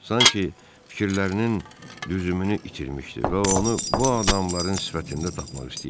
Sanki fikirlərinin düzümünü itirmişdi və onu bu adamların sifətində tapmaq istəyirdi.